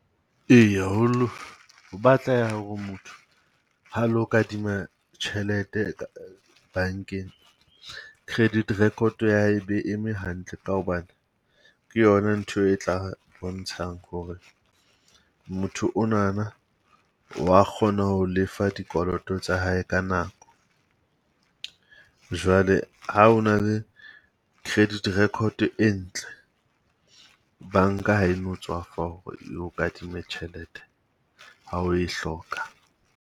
Eya haholo o batleha hore motho ha lo kadima tjhelete bankeng, credit record ya hae be eme hantle ka hobane ke yona ntho e tla bontshang hore motho onana wa kgona ho lefa dikoloto tsa hae ka nako. Jwale ha o na le credit record e ntle, banka ha e no tswafa hore e o kadime tjhelete ha o e hloka.